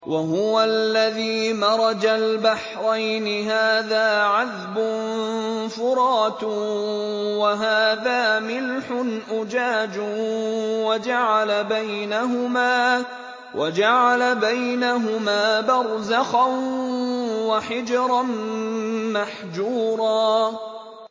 ۞ وَهُوَ الَّذِي مَرَجَ الْبَحْرَيْنِ هَٰذَا عَذْبٌ فُرَاتٌ وَهَٰذَا مِلْحٌ أُجَاجٌ وَجَعَلَ بَيْنَهُمَا بَرْزَخًا وَحِجْرًا مَّحْجُورًا